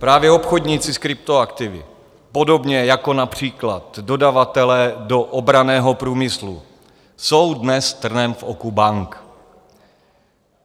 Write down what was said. Právě obchodníci s kryptoaktivy, podobně jako například dodavatelé do obranného průmyslu, jsou dnes trnem v oku bank.